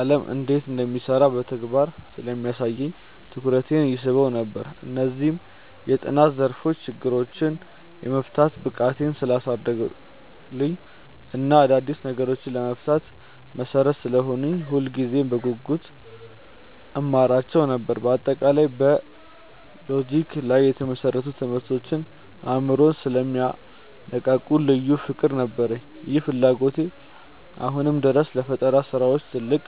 ዓለም እንዴት እንደሚሰራ በተግባር ስለሚያሳየኝ ትኩረቴን ይስበው ነበር። እነዚህ የጥናት ዘርፎች ችግሮችን የመፍታት ብቃቴን ስላሳደጉልኝ እና አዳዲስ ነገሮችን ለመፍጠር መሠረት ስለሆኑኝ ሁልጊዜም በጉጉት እማራቸው ነበር። በአጠቃላይ በሎጂክ ላይ የተመሰረቱ ትምህርቶች አእምሮን ስለሚያነቃቁ ልዩ ፍቅር ነበረኝ። ይህ ፍላጎቴ አሁንም ድረስ ለፈጠራ ስራዎች ትልቅ